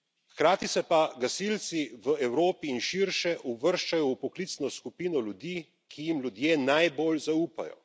Hkrati se pa gasilci v Evropi in širše uvrščajo v poklicno skupino ljudi, ki jim ljudje najbolj zaupajo.